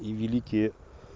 и великие